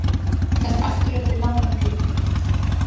Að hittast aftur eftir langan tíma